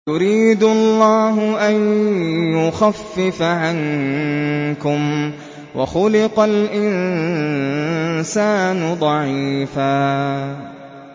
يُرِيدُ اللَّهُ أَن يُخَفِّفَ عَنكُمْ ۚ وَخُلِقَ الْإِنسَانُ ضَعِيفًا